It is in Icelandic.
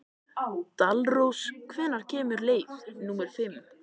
Dalrós, hvenær kemur leið númer fimm?